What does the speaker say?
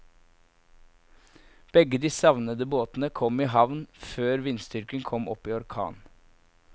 Begge de savnede båtene kom i havn før vindstyrken kom opp i orkan.